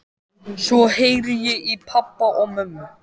Svo heyri ég í pabba og mömmu.